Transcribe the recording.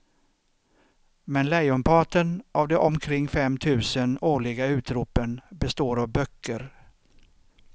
Men lejonparten av de omkring fem tusen årliga utropen består av böcker.